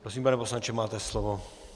Prosím, pane poslanče, máte slovo.